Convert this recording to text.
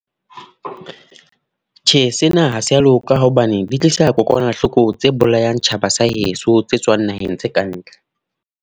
Tjhe, sena ha se a loka. Hobane di tlisa kokwanahloko tse bolayang tjhaba sa heso, tse tswang naheng tse ka ntle.